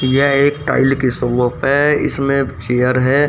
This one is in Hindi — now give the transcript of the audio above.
यह एक टाइल की शॉप है इसमें चेयर है।